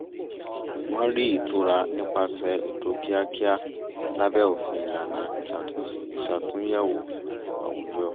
wọ́n rí ìtura nípasẹ̀ ètò kíakíá lábẹ́ òfin ìlànà ìṣàtúnyẹ̀wò àwùjọ